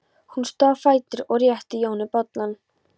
Hún stóð á fætur og rétti Jóni bollann.